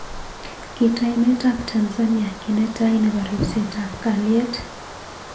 Kitoi emet ab Tnzania ki netai nebo ribset ab kaliet.